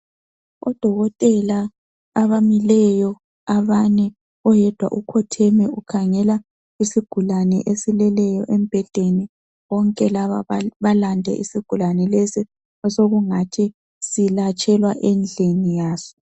Odokotela abamileyo abane. Oyedwa ukhotheme ukhangela isigulane esileleyo embhedeni. Bonke laba balande isigulane lesi osokungathi silatshelwa endlini yaso.